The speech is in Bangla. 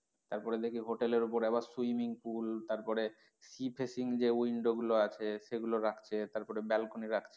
তারপরে দেখি hotel এর ওপর আবার swimming pool তারপরে sea facing যে window গুলো আছে সেগুলো রাখছে তারপর balcony রাখছে,